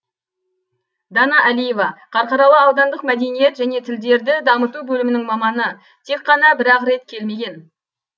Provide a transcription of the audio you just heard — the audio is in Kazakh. дана әлиева қарқаралы аудандық мәдениет және тілдерді дамыту бөлімінің маманы тек қана бір ақ рет келмеген